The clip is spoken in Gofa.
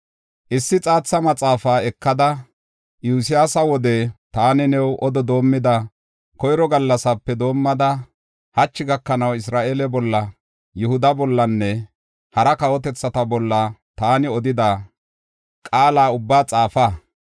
“Issi xaatha maxaafaa ekada, Iyosyaasa wode taani new odo doomida koyro gallasape doomada, hachi gakanaw Isra7eele bolla, Yihuda bollanne hara kawotethata bolla taani odida qaala ubbaa xaafa.